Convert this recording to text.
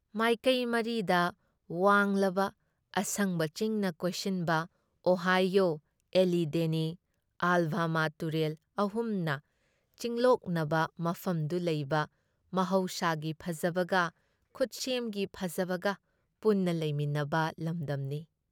ꯃꯥꯏꯀꯑꯦ ꯃꯔꯤꯗ ꯋꯥꯡꯂꯕ, ꯑꯁꯪꯕ ꯆꯤꯡꯅ ꯀꯣꯏꯁꯤꯟꯕ, ꯑꯣꯍꯥꯏꯌꯣ, ꯑꯦꯂꯤꯙꯦꯅꯤ, ꯑꯥꯜꯕꯥꯃꯥ ꯇꯨꯔꯦꯜ ꯑꯍꯨꯝꯅ ꯆꯤꯜꯂꯣꯛꯅꯕ ꯃꯐꯝꯗ ꯂꯩꯕ ꯃꯍꯧꯁꯥꯒꯤ ꯐꯖꯕꯒ, ꯈꯨꯠꯁꯦꯝꯒꯤ ꯐꯖꯕꯒ ꯄꯨꯟꯅ ꯂꯩꯃꯤꯟꯅꯕ ꯂꯝꯗꯝꯅꯤ ꯫